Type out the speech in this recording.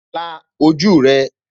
La ojú rẹ